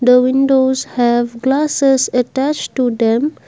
the windows have glasses attached to them.